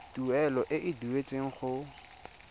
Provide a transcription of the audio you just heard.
tuelo e e duetsweng go